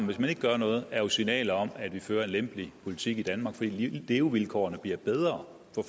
hvis man ikke gør noget er sammen signaler om at vi fører en lempelig politik i danmark fordi levevilkårene bliver bedre